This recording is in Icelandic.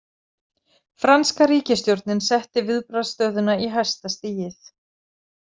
Franska ríkisstjórnin setti viðbragðsstöðuna í hæsta stigið.